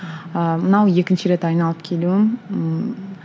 ыыы мынау екінші рет айналып келуім ыыы